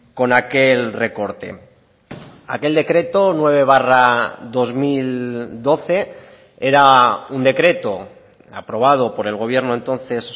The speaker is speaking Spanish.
con aquel recorte aquel decreto nueve barra dos mil doce era un decreto aprobado por el gobierno entonces